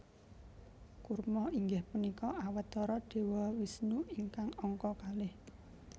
Kurma inggih punika Awatara Dewa Wisnu ingkang angka kalih